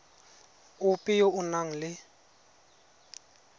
ope yo o nang le